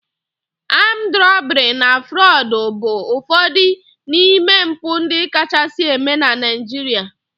Armed robbery and Fraud bụ ụfọdụ n'ime mpụ ndị kachasị eme na Naịjirịa